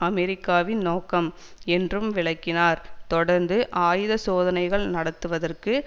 அமெரிக்காவின் நோக்கம் என்றும் விளக்கினார் தொடர்ந்து ஆயுத சோதனைகள் நடத்துவதற்கு